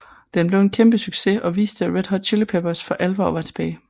Den blev en kæmpe succes og viste at Red Hot Chili Peppers for alvor var tilbage